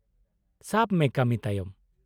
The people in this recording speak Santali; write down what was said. - ᱥᱟᱵ ᱢᱮ , ᱠᱟᱹᱢᱤ ᱛᱟᱭᱚᱢ ?